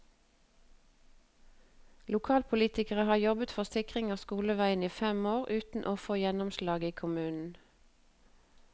Lokalpolitikerne har jobbet for sikring av skoleveien i fem år, uten å få gjennomslag i kommunen.